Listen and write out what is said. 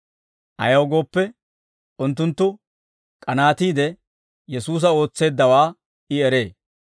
Ayaw gooppe, unttunttu k'anaatiide Yesuusa ootseeddawaa I eree.